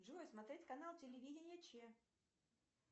джой смотреть канал телевидения че